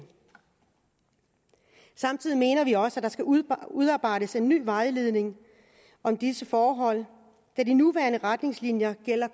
samtidig mener vi også at der skal udarbejdes en ny vejledning om disse forhold da de nuværende retningslinjer